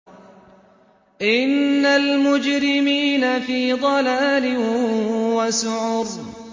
إِنَّ الْمُجْرِمِينَ فِي ضَلَالٍ وَسُعُرٍ